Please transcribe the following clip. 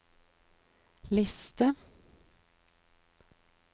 liste